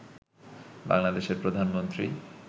বাংলাদেশের প্রধানমন্ত্রী